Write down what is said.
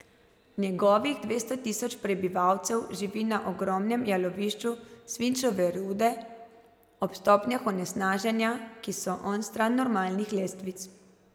Njegovih dvesto tisoč prebivalcev živi na ogromnem jalovišču svinčeve rude ob stopnjah onesnaženja, ki so onstran normalnih lestvic.